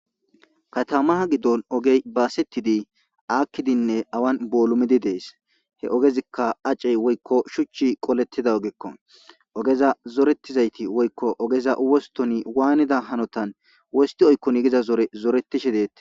Katamaa giddon ogey baasetidi aakkidinne awan boolumidi dees he ogezikka acey woykko shuchchi qolettida ogekko ogeza zoretizayti woykko ogeza wostoni waanida hanotan wosti oykkonigiza zore zoretishe deetti